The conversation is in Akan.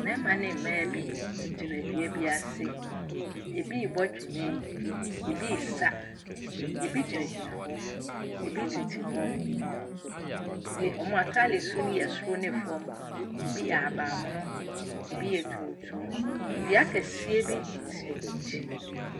Mmarima ne mmaa bi gyina dua bi ase, bi ɛrebɔ twene, bi ɛresa, bi gyinagyina hɔ, bi tete hɔ. Na wɔn ataadesuo ne yɛ soro ne fam, bi yɛ ahabanmono, bi yɛ tuntum. Dua kɛseɛ bi si wɔn akyi.